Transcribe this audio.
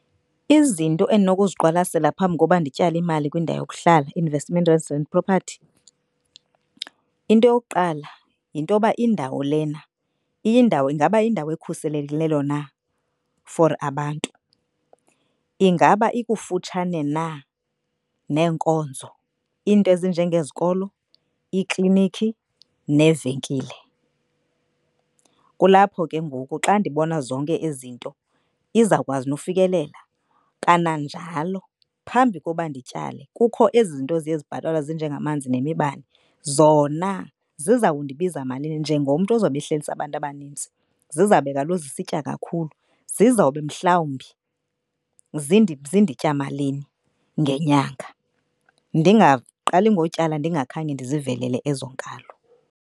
Izinto endinokuziqwalasela phambi koba ndityale imali kwindawo yokuhlala investment and property. Into yokuqala yintoba indawo lena iyindawo ingaba yindawo ekhuselekileyo na for abantu. Ingaba ikufutshane na neenkonzo, into ezinjengeezikolo, iiklinikhi neevenkile. Kulapho ke ngoku xa ndibona zonke ezi zinto izawukwazi nokufikelela kananjalo. Phambi koba ndityale kukho ezi zinto ziye zibhatalwe ezinjengamanzi nemibane zona ziza kundibiza malini njengomntu ozawube ehlalise abantu abanintsi. Zizawube kaloku zisitya kakhulu, zizowube mhlawumbi zinditya malini ngenyanga. Ndingaqali ngotyala ndingakhange ndizivelele ezo nkalo.